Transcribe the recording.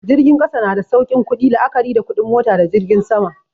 Jirgin ƙasa na da saukin ƙudi la'akari da kuɗin mota da jirgin sama.